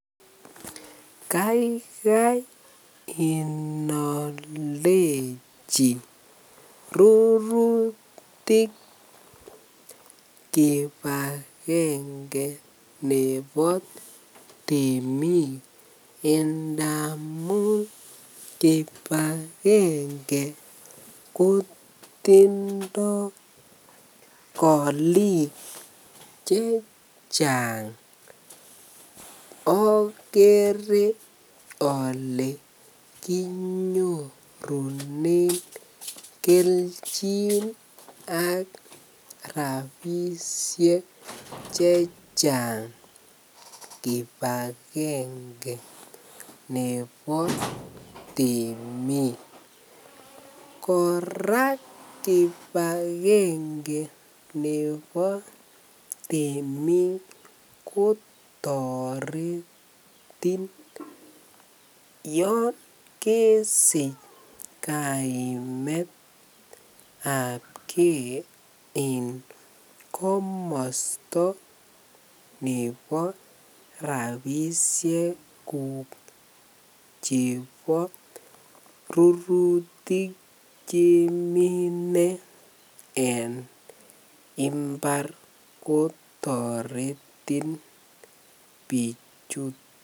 Kaikai inooldechi rurutik kibakenge nebo temik ndamun kibakenge kotindo oliik chechang okere olee kinyorunen klchin ak rabishek chechang kibakenge nebo temik, kora kibakenge nebo temiik kotoretin yoon kesich kaimetabke en komosto nebo rabishek chebo rurutik chemine en imbar kotoretin bichuton.